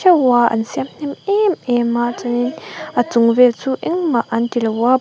an siam hnem emem a chuanin a chung vel chu engmah an tilo a.